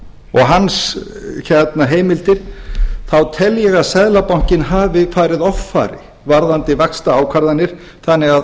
og hans heimildir þá tel ég að seðlabankinn hafi farið offari varðandi vaxtaákvarðanir þannig að